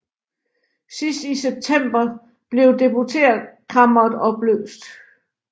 Sidst i september blev Deputeretkammeret opløst